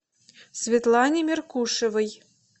светлане меркушевой